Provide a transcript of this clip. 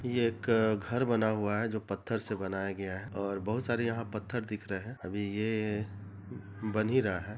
यह एक घर बना हुआ है जो पत्थर से बनाया गया है और बोहत सारे यहाँ पत्थर दिख रहे है अभी ये बन ही रहा है।